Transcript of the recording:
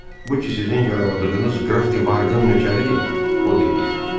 bu ki sizin yaraladığınız qraf de Vardın nökəridir, o dedi.